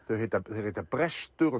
þeir heita þeir heita brestur og